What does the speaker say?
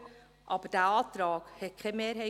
Dieser Antrag fand keine Mehrheit.